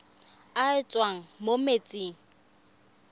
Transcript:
e e tswang mo metsing